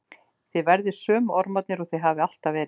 Þið verðið sömu ormarnir og þið hafið alltaf verið.